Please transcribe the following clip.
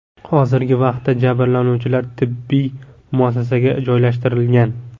Hozirgi vaqtda jabrlanuvchilar tibbiy muassasaga joylashtirilgan.